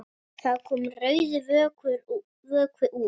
Það kom rauður vökvi út.